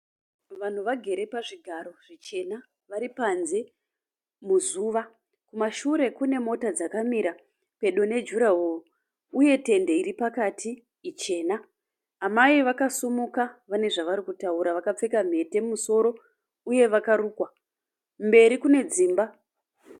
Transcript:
Vanhu vagere pazvigaro zvichena vari panze muzuva. Kumashure kune mota dzakamira pedo nejurahoro uye tende iripakati ichena Amai vakasimuka vane zvavarikutaura vakapfeka nhete pamusoro uye vakarukwa. Mberi kune dzimba.